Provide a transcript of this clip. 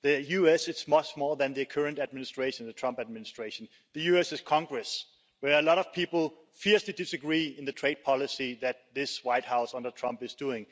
the US is much more than the current administration, the Trump Administration the US is Congress, where a lot of people fiercely disagree on the trade policy that this White House under Trump is doing.